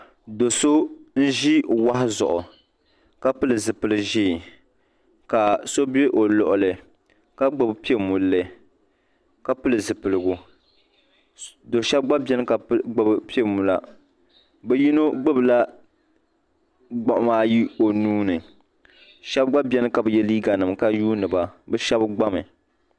Do'so n ʒi o wahu zuɣu ka pili zipili'ʒee ka so be o luɣuli ka gbibi piɛmolli ka pili zipiligu do sheba gba biɛni ka gbibi piɛmola bɛ yino gbibila gbiɣima ayi o nuuni sheba gba biɛni ka bi ye liiga nima ka yuuni ban bɛ sheba gbami.